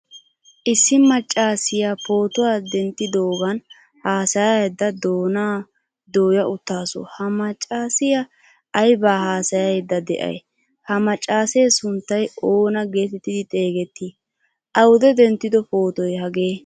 Issi maccasiya pootuwaa denttidogan haasayada doona dooyaa uttasu ha maccasiyaa ayba haasayiyda de'ay? Ha maccaase sunttay oonaa geetettidi xeegetti? Awude denttido pootoy hagee?